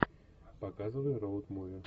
показывай роуд муви